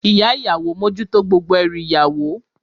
Ìyá ìyàwó mójútó gbogbo ẹrù ìyàwó.